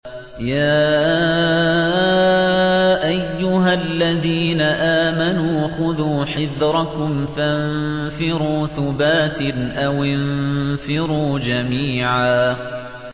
يَا أَيُّهَا الَّذِينَ آمَنُوا خُذُوا حِذْرَكُمْ فَانفِرُوا ثُبَاتٍ أَوِ انفِرُوا جَمِيعًا